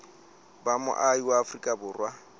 ba moahi wa afrika borwa